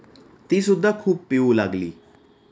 तीसुद्धा खूप पिऊ लागली.